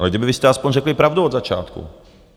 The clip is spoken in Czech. Ale kdybyste vy aspoň řekli pravdu od začátku.